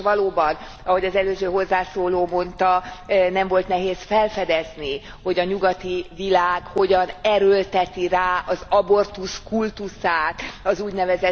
És valóban, ahogy az előző hozzászóló mondta, nem volt nehéz felfedezni, hogy a nyugati világ hogyan erőlteti rá az abortusz kultuszát az ún.